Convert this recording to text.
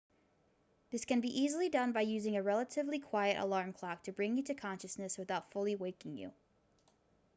this can be easily done by using a relatively quiet alarm clock to bring you to consciousness without fully waking you